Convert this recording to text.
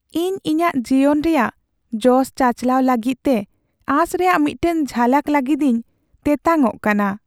ᱤᱧ ᱤᱧᱟᱹᱜ ᱡᱤᱭᱚᱱ ᱨᱮᱭᱟᱜ ᱡᱚᱥ ᱪᱟᱪᱟᱞᱟᱣ ᱞᱟᱹᱜᱤᱫᱛᱮ ᱟᱸᱥ ᱨᱮᱭᱟᱜ ᱢᱤᱫᱴᱟᱝ ᱡᱷᱟᱞᱟᱠ ᱞᱟᱹᱜᱤᱫᱤᱧ ᱛᱮᱛᱟᱝᱚᱜ ᱠᱟᱱᱟ ᱾